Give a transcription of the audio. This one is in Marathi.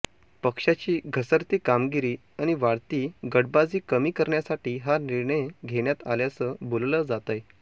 पक्षाची घसरती कामगिरी आणि वाढती गटबाजी कमी करण्यासाठी हा निर्णय घेण्यात आल्याचं बोललं जातंय